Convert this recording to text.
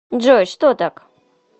джой что так